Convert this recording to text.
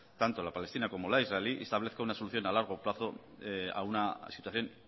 tanto la palestina como la israelí y establezca una solución a largo plazo a una situación